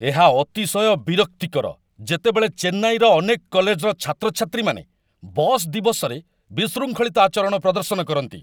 ଏହା ଅତିଶୟ ବିରକ୍ତିକର ଯେତେବେଳେ ଚେନ୍ନାଇର ଅନେକ କଲେଜର ଛାତ୍ରଛାତ୍ରୀମାନେ 'ବସ୍ ଦିବସ'ରେ ବିଶୃଙ୍ଖଳିତ ଆଚରଣ ପ୍ରଦର୍ଶନ କରନ୍ତି।